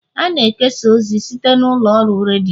a na-ekesa ozi site n'ụlọ ọrụ redio